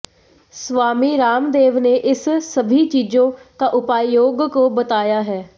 स्वामी रामदेव ने इस सभी चीजों का उपाय योग को बताया है